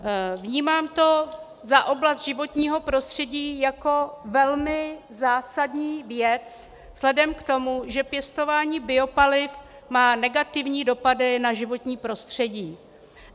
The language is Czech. Vnímám to za oblast životního prostředí jako velmi zásadní věc vzhledem k tomu, že pěstování biopaliv má negativní dopady na životní prostředí.